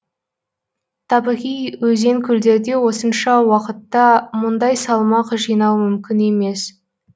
табиғи өзен көлдерде осынша уақытта мұндай салмақ жинау мүмкін емес